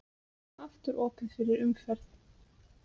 Aftur opið fyrir umferð